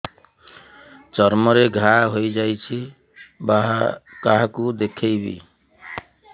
ଚର୍ମ ରେ ଘା ହୋଇଯାଇଛି କାହାକୁ ଦେଖେଇବି